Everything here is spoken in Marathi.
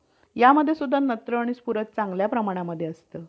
यामध्ये सुद्धा नत्र आणि स्फुरद चांगल्या प्रमाणामध्ये असतं.